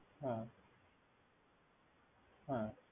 হ্যা।